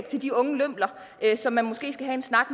til de unge lømler som man måske skal have en snak